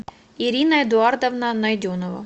ирина эдуардовна найденова